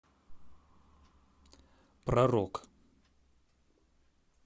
про рок